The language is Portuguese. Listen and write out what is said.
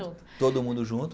Todo mundo junto.